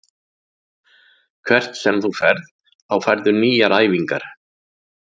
Hvert sem þú ferð þá færðu nýjar æfingar.